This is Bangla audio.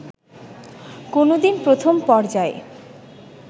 কোনোদিন প্রথম পর্যায়ের